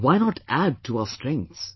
Why not add to our strengths